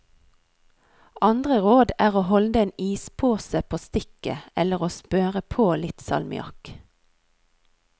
Andre råd er å holde en ispose på stikket, eller å smøre på litt salmiakk.